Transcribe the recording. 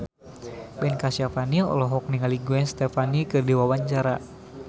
Ben Kasyafani olohok ningali Gwen Stefani keur diwawancara